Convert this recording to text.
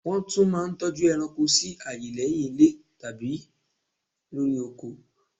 Nwọ́n tún mà n toju eranko si aaye lé̩hiń ilé tàbí lori oko